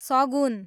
सगुन